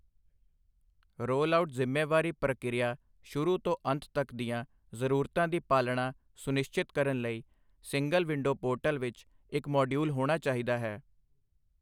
Rollout ਜ਼ਿੰਮੇਵਾਰੀ ਪ੍ਰਕਿਰਿਆ ਸ਼ੁਰੂ ਤੋਂ ਅੰਤ ਤੱਕ ਦੀਆਂ ਜ਼ਰੂਰਤਾਂ ਦੀ ਪਾਲਣਾ ਸੁਨਿਸ਼ਚਿਤ ਕਰਨ ਲਈ ਸਿੰਗਲ ਵਿੰਡੋ ਪੋਰਟਲ ਵਿੱਚ ਇੱਕ ਮਾਡਿਊਲ ਹੋਣਾ ਚਾਹੀਦਾ ਹੈ।